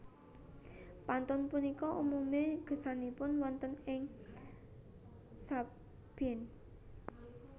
Pantun punika umumipun gesangipun wonten ing sabin